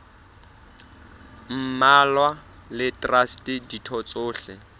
mmalwa le traste ditho tsohle